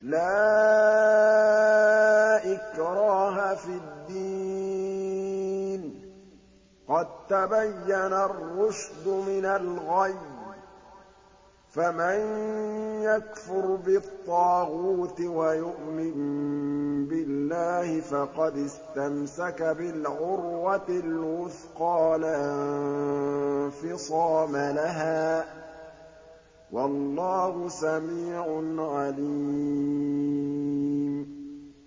لَا إِكْرَاهَ فِي الدِّينِ ۖ قَد تَّبَيَّنَ الرُّشْدُ مِنَ الْغَيِّ ۚ فَمَن يَكْفُرْ بِالطَّاغُوتِ وَيُؤْمِن بِاللَّهِ فَقَدِ اسْتَمْسَكَ بِالْعُرْوَةِ الْوُثْقَىٰ لَا انفِصَامَ لَهَا ۗ وَاللَّهُ سَمِيعٌ عَلِيمٌ